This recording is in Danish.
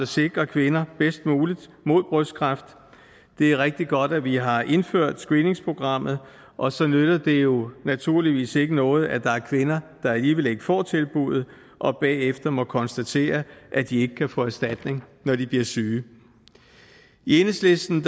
sikre kvinder bedst muligt mod brystkræft det er rigtig godt at vi har indført screeningsprogrammet og så nytter det jo naturligvis ikke noget at der er kvinder der alligevel ikke får tilbuddet og bagefter må konstatere at de ikke kan få erstatning når de bliver syge i enhedslisten